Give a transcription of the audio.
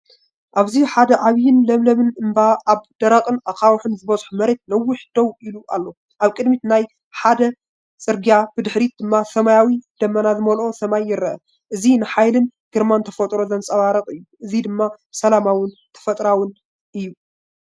ኣብዚ ሓደ ዓቢን ለምለምን እምባ ኣብ ደረቕን ኣኻውሕ ዝበዝሖን መሬት ነዊሕ ደው ኢሉ ኣሎ። ኣብ ቅድሚት ናይ ሓመድ ጽርግያ፡ብድሕሪት ድማ ሰማያዊን ደበና ዝመልኦን ሰማይ ይረአ። እዚ ንሓይልን ግርማን ተፈጥሮ ዘንጸባርቕ እዩ። እዚ ድማ ሰላማውን ተፈጥሮኣውን እዩ።